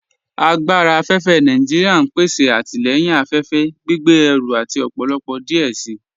Agbára afẹ́fẹ́ Nàìjíríà n pèsè àtilẹ̀yìn afẹ́fẹ́, gbìgbé ẹ̀rù àti ọ̀pọ̀lọ̀pọ̀ díẹ̀ sí.